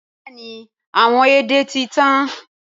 Bẹẹni awọn édè ti tan.